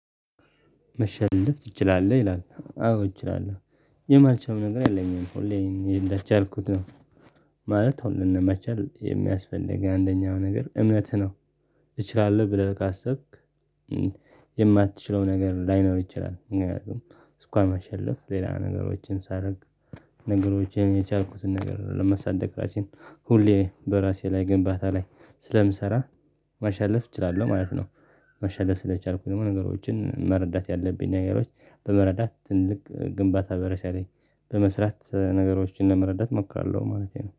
መሸለፍ ትችላለህ? ይላል አዎ እችላለሁ። የማልችለውም ነገር የለኝም ሁሌ ይሄን እንደቻ አልኩት ነው ማለት አሁን ለመቻል የሚያስፈልግ አንደኛው ነገር እምነትህ ነው እችላለሁ ብለህ ካሰብክ የማትችለው ነገር ላይኖር ይችላል። ምክንያቱም እንኳን መሸለፍ ሌላ ነገሮችን ሳደርግ ነገሮችን የቻልኩትን ነገር ለመሳደግ ራሴን ሁሌ በራሴ ላይ ግንባታ ላይ ስለምሰራ መሸለፍ እችላለሁ ማለት ነው። መሸለፍ ስለቻልኩኝ ነው ነገሮችን መረዳት ያለብኝ ነገሮች በመረዳት ትልቅ ግንባታ በራሴ ላይ በመስራት ነገሮችን ለመረዳት ሞክራለሁ ማለቴ ነው